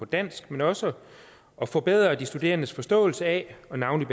dansk men også at forbedre de studerendes forståelse af og navnlig